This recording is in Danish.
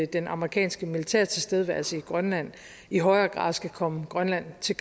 den amerikanske militærtilstedeværelse i grønland i højere grad skal komme grønland til